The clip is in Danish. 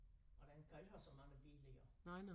Og den kan ikke have så mange biler i jo